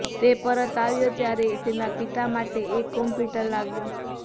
તે પરત આવ્યો ત્યારે તેના પિતા માટે એક કમ્પ્યુટર લાવ્યો